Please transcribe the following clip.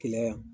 Keleya yan